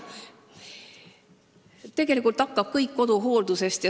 Tegelikult algab kõik koduhooldusest.